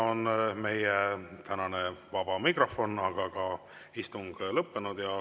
Meie tänane vaba mikrofon, aga ka istung on lõppenud.